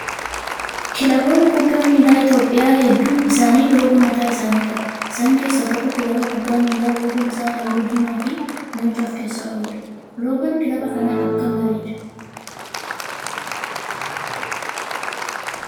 Kilaboonni kubbaa miilaa Itoophiyaa hedduun isaanii loogoo mataa isaanii qabu. Isaan keessaa tokko kilaba kubbaa miilaa loogoon isaa halluu diimaa fi leenca of keessaa qabudha. Loogoon kilaba kanaa akkam bareeda!